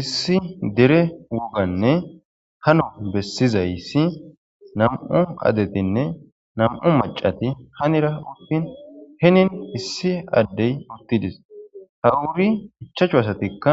Issi dere woganne halo besizaysi nam'u adetinne nam'u mac'ati hanira utin hinin issi adey utides ha ubi ichachu asatika